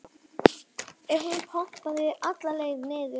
ef hún pompaði alla leið niður.